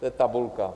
To je tabulka.